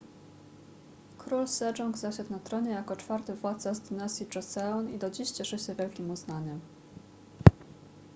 król sejong zasiadł na tronie jako czwarty władca z dynastii joseon i do dziś cieszy się wielkim uznaniem